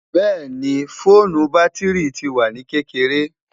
bẹẹni, foonu batiri ti wa ni kekere